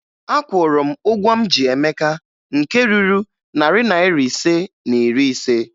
Akwụrụ m ụgwọ m ji Emeka nke ruru narị naịra ise na iri ise